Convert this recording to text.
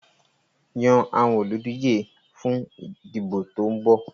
Yan àwọn olùdíje fún ìdìbò tó ń bọ̀.